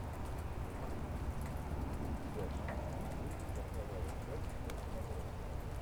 у тебя в списке есть сороковая часть форс мажора